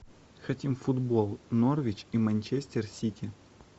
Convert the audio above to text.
хотим футбол норвич и манчестер сити